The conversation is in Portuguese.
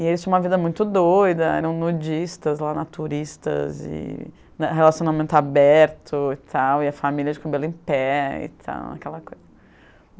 E eles tinham uma vida muito doida, eram nudistas, lá naturistas, e relacionamento aberto e tal, e a família de cabelo em pé e tal, aquela coisa.